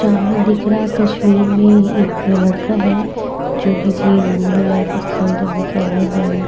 सामने दिख रहा तस्वीर में एक ये लड़का है जो किसी घूमने लायक स्थल जगह पे आये हुए है।